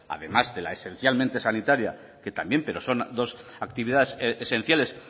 además de la esencialmente sanitaria que también pero son dos actividades esenciales